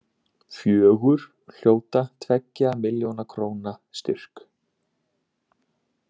Fjögur hljóta tveggja milljóna króna styrk